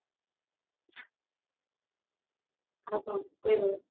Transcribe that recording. ଆଉ କଣ କହିବ